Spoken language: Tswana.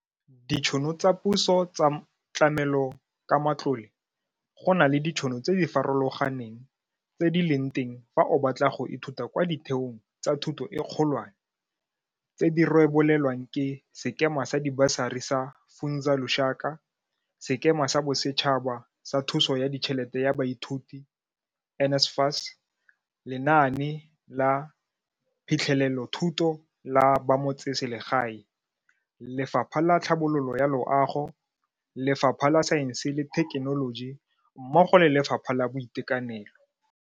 Ditšhono tsa puso tsa tlamelokamatlole Go na le ditšhono tse di farologaneng tse di leng teng fa o batla go ithuta kwa ditheong tsa thuto e kgolwane, tse di rebolwang ke Sekema sa Dibasari sa Funza Lushaka, Sekema sa Bosetšhaba sa Thuso ya Ditšhelete ya Baithuti NSFAS, Lenaane la Phitlhelelothuto la Bamotseselegae, Lefapha la Tlhabololo ya Loago, Lefapha la Saense le Thekenoloji mmogo le Lefapha la Boitekanelo.